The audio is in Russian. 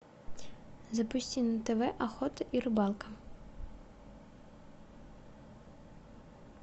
запусти на тв охота и рыбалка